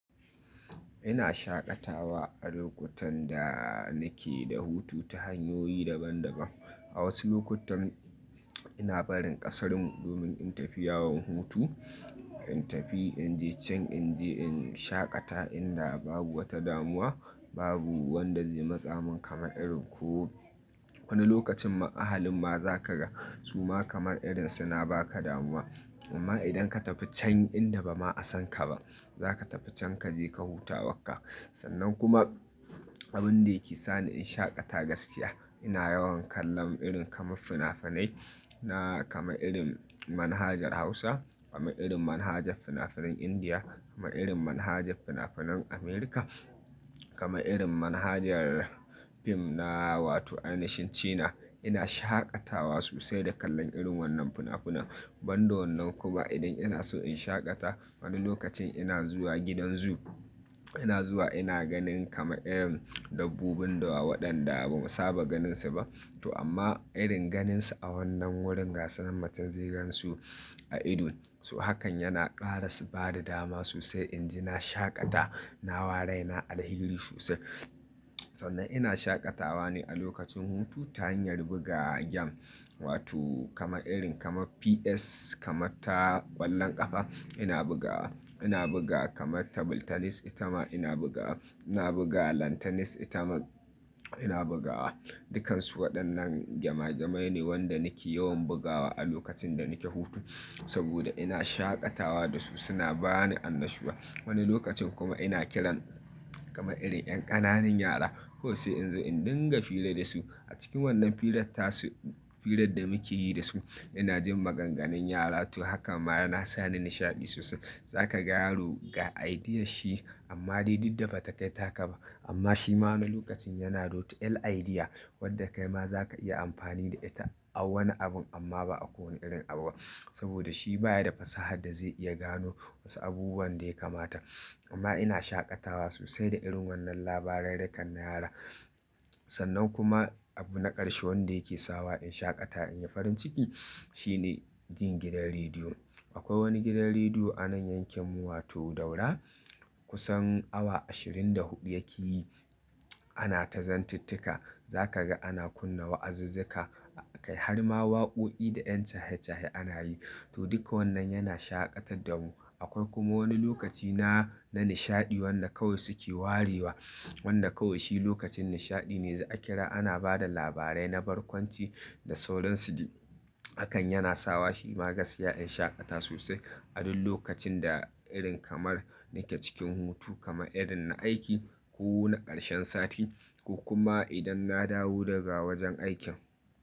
Ina shaƙatawa a lokutan da nake da hutu ta hanyoyi daban-daban. A wasu lokutan ina barin ƙasar mu domin in tafi yawon hutu, in tafi in je can in je in shaƙata inda babu wata damuwa, babu wadda zai matsa min kama irin ko wani lokacin ma ahalin ma za ka ga suma kamar irin suna ba ka damuwa. Amma idan ka tafi can inda ba ma san ka ba, za ka tafi can ka je ka huta abun ka. Sannan kuma abin da yake sa ni in shaƙata gaskiya ina yawan kallon irin kamar fina-finai na kamar irin manhajar Hausa, kamar irin manhajar fina-finan Indiya, kamar irin manhajar fina-finan Amurka, kamar irin manhajar fim na wato "Ancient China". Ina shaƙatawa sosai da kallon irin wannan fina-finan. Ban da wannan kuma idan ina so in shaƙata wani lokacin ina zuwa gidan zoo. Ina zuwa ina ganin kama irin dabbobin da waɗanda ba mu saba ganinsa ba. To amma irin ganinsu a wannan wurin, ga su nan matum zai gan su a ido, to hakan yana ƙara ba da dama sosai in ji na shaƙata, na wa rai na alheri sosai. Sannan ina shaƙatawa ne a lokacin hutu ta hanyar buga giyim, wato kamar irin kamar PS, kamar ta ƙwallon ƙafa ina bugawa. Ina buga kamar tebur tennis itama ina bugawa. Ina buga lawn tennis itama ina bugawa. Dukansu waɗannan gema gemai ne wadda nake yawan bugawa a lokacin da nake hutu saboda ina shaƙatawa da su suna ba ni annashuwa. Wani lokacin kuma ina kiran kamar irin ƴan ƙananan yara kawai sai in zo in dinga hira da su. A cikin wannan hirar tasu, hirar da muke yi da su, ina jin maganganun yara to hakan ma yana sa ni nishaɗi sosai. Za ka ga yaro ga idea shi amma dai duk da ba ta kai taka ba. Amma shi ma wani lokacin yana da to iyar idea wadda kai ma za ka iya amfani da ita a wani abun amma ba a kowane irin abu ba saboda shi ba ya da fasahar da zai iya gano wasu abubuwan da ya kamata. Amma ina shaƙatawa sosai da irin wannan labarurrukan wadannan yaran Sannan kuma abu na ƙarshe wadda yake sawa in shaƙata in yi farin ciki shine jin gidan rediyo. Akwai wani gidan rediyo a nan yankinmu wato Daura kusan awa ashirin da huɗu yake yi. Ana ta zantittika, za ka ga ana kunna wa'azizzika, har ma waƙoki da ƴan cashe-chase ana yi. To duka wannan yana shaƙatar da mu. Akwai kuma wani lokaci na, na nishaɗi wadda kawai suke warewa wadda kawai shi lokacin nishaɗi ne za a kira ana bada labarai na barkwanci da sauran su. Hakan yana sawa shi ma gaskiya in shaƙata sosai a duk lokacin da irin kamar nake cikin hutu kamar irin na aiki ko na ƙarshen sati ko kuma idan na dawo daga wajen aiki.